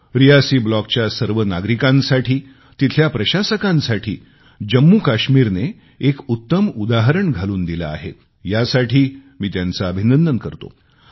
मी रियासी ब्लॉकच्या सर्व नागरिकांचे तिथल्या प्रशासकांचे जम्मूकाश्मीरने एक उत्तम उदाहरण घालून दिले आहे यासाठी त्यांचे अभिनंदन करतो